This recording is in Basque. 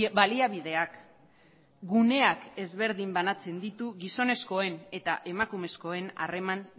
baliabideak guneak ezberdin banatzen ditu gizonezkoen eta emakumezkoen harreman